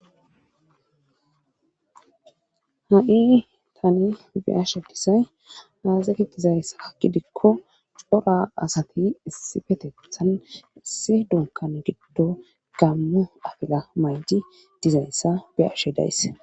ha7i tani biyashadisay haazeti dizayssa hakidikko cora asati issi fetethan issi dunkan giddo gammu afila mayji dizayssa biyashe daysse